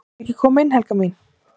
"""VILTU EKKI KOMA INN, HELGA MÍN!"""